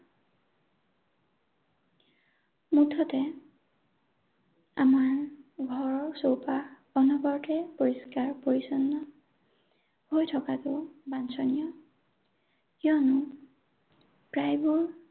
মুঠতে আমাৰ ঘৰৰ চৌপাশ অনবৰতে পৰিষ্কাৰ পৰিচ্ছন্ন হৈ থকাটো বাঞ্ছনীয়। কিয়নো প্ৰায়বোৰ